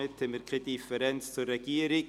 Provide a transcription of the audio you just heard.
Somit haben wir keine Differenz zur Regierung.